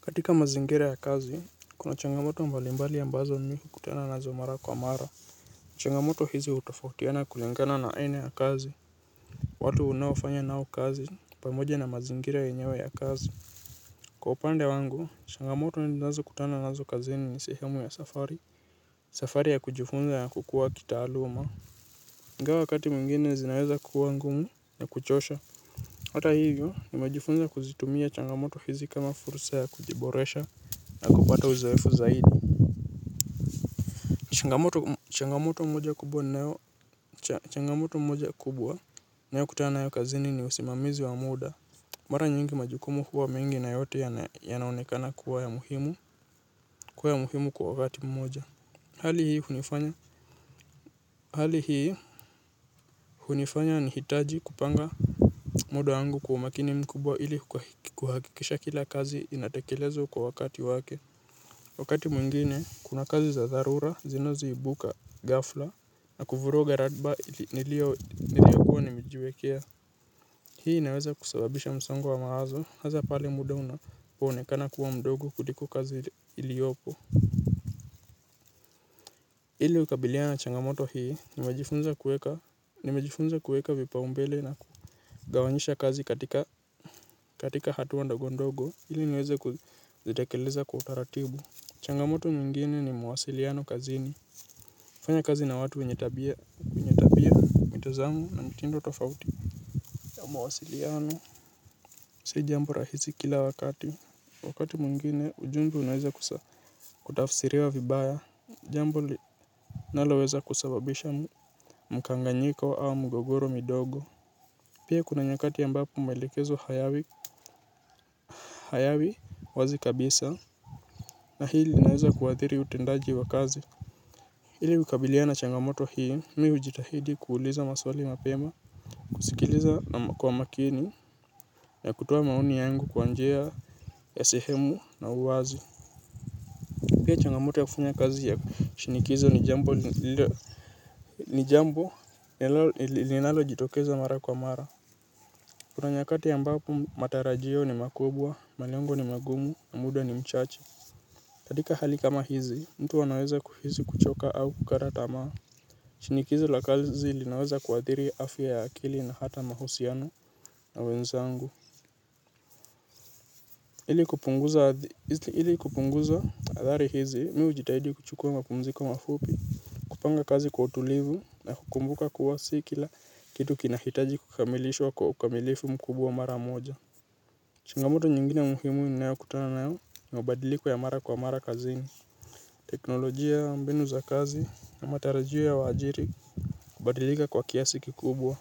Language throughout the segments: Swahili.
Katika mazingira ya kazi, kuna changamoto mbali mbali ambazo mimi hukutana nazo mara kwa mara. Changamoto hizi hutofautiana kulingana na aina ya kazi. Watu unaofanya nao kazi pamoja na mazingira yenyewe ya kazi. Kwa upande wangu, changamoto ninazokutana nazo kazini ni sehemu ya safari. Safari ya kujifunza ya kukuwa kitaaluma. Ingawa wakati mwingine zinaweza kuwa ngumu na kuchosha. Hata hivyo nimejifunza kuzitumia changamoto hizi kama fursa ya kujiboresha. Na kupata uzoefu zaidi. Changamoto moja kubwa ninayokutana nayo kazini ni usimamizi wa muda. Mara nyingi majukumu huwa mingi na yote yanaonekana kuwa ya muhimu kuwa ya muhimu kwa wakati mmoja. Hali hii hunifanya nihitaji kupanga muda wangu kwa makini mkubwa ili kuhakikisha kila kazi inatekelezwa kwa wakati wake wakati mwingine kuna kazi za dharura zinazoibuka ghafla na kuvuruga ratiba niliyokuwa nimejiwekea hii inaweza kusababisha msongo mawazo hasa pale muda unapoonekana kuwa mdogo kuliko kazi iliyopo ili kukabiliana na changamoto hii nimejifunza kueka vipaombele na kugawanyisha kazi katika hatua ndogo ndogo ili niweze kuzitekeleza kwa utaratibu changamoto mingine ni mawasiliano kazini kufanya kazi na watu wenye tabia tabia mitazamo na mitindo tofauti ya mawasiliano si jambo rahisi kila wakati wakati mwingine ujumbe unaweza kutafsiriwa vibaya jambo linaloweza kusababisha mkanganyiko au migogoro midogo pia kuna nyakati ambapo maelekezo hayawi hayawi wazi kabisa na hii linaweza kuadhiri utendaji wa kazi. Ili kukabiliana na changamoto hii, mimi hujitahidi kuuliza maswali mapema, kusikiliza kwa makini, na kutoa maoni yangu kwa njia ya sehemu na uwazi. Pia changamoto ya kufanya kazi ya shinikizo ni jambo linalojitokeza mara kwa mara. Kuna nyakati ambapo matarajio ni makubwa, malengo ni magumu, na muda ni mchache. Katika hali kama hizi, mtu anaweza kuhisi kuchoka au kukata tamaa. Shinikizo la kazi linaweza kuadhiri afya ya akili na hata mahusiano na wenzangu ili kupunguza athari hizi mimi hujitahidi kuchukua mapumziko mafupi kupanga kazi kwa utulivu na kukumbuka kuwa si kila kitu kinahitaji kukamilishwa kwa ukamilifu mkubwa mara moja. Changamoto nyingine muhimu ninayokutana nao ni mabadiliko ya mara kwa mara kazini teknolojia mbinu za kazi na matarajio ya waajiri kubadilika kwa kiasi kikubwa.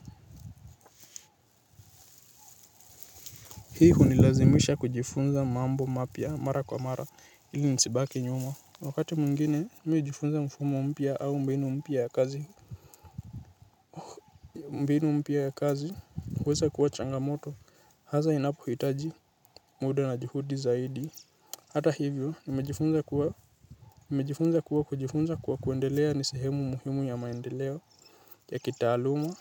Hii hunilazimisha kujifunza mambo mapya mara kwa mara ili nisibaki nyuma. Wakati mwingine nimejifunza mfumo mpya au mbeinu mpia ya kazi. Mbinu mpya ya kazi huweza kuwa changamoto. Hasa inapohitaji muda na juhudi zaidi. Hata hivyo nimejifunza kuwa kujifunza kuwa kuendelea ni sehemu muhimu ya maendeleo ya kitaaluma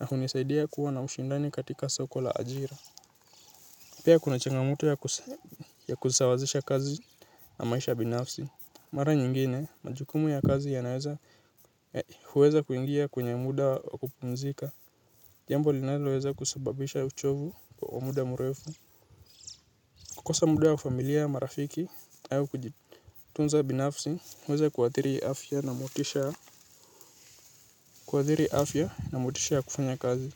na hunisaidia kuwa na ushindani katika soko la ajira. Pia kuna changamoto ya kusawazisha kazi na maisha binafsi. Mara nyingine, majukumu ya kazi yanaweza huweza kuingia kwenye muda wa kupumzika. Jambo linoweza kusababisha uchovu kwa muda mrefu. Kukosa muda wa familia marafiki, nayo kujitunza binafsi, huweza kuathiri afya na motisha kufanya kazi.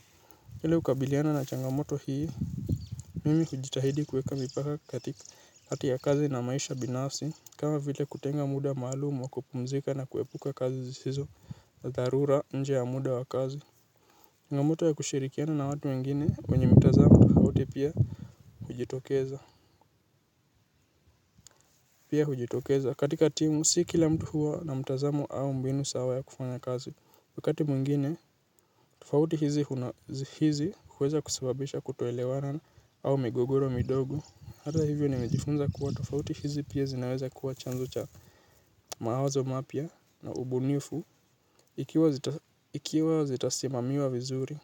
Hili kukabiliana na changamoto hii, mimi hujitahidi kuweka mipaka katika kati ya kazi na maisha binafsi, kama vile kutenga muda maalumu wa kupumzika na kuepuka kazi hzisizo na dharura nje ya muda wa kazi changamoto ya kushirikiana na watu wengine wenye mtazamo tofauti pia hujitokeza pia hujitokeza katika timu si kila mtu huwa na mtazamo au mbinu sawa ya kufanya kazi wakati mwingine tofauti hizi huweza kusababisha kutoelewana au migogoro midogo hata hivyo nimejifunza kuwa tofauti hizi pia zinaweza kuwa chanzo cha mawazo mapya na ubunifu ikiwa zitasimamiwa vizuri.